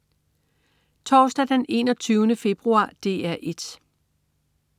Torsdag den 21. februar - DR 1: